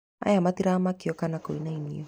Aya matiramakio kana kũinainio